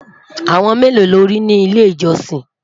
àwọn melo lórí ni ilé ìjósìn?